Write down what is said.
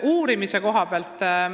Nüüd uuringutest.